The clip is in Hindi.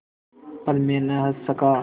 पर मैं न हँस सका